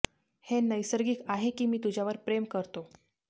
हे नैसर्गिक आहे की मी तुझ्यावर प्रेम करतो